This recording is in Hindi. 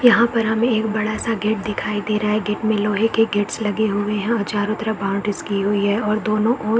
यहाँ पर हमें एक बड़ा-सा गेट दिखाई दे रहा है गेट में लोहे के गेट्स लगे हुए हैं और चारों तरफ बाउंड्रीज की हुई है और दोनों और --